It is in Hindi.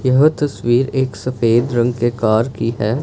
यह तस्वीर एक सफेद रंग के कार की है।